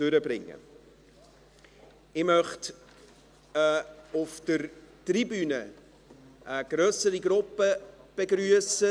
Ich möchte auf der Tribüne eine grössere Gruppe begrüssen.